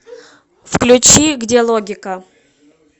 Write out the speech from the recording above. включи где логика